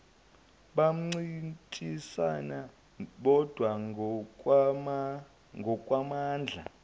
bancintisane bodwa ngokwamandla